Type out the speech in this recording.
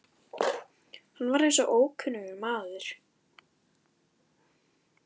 Hann var eins og ókunnugur maður.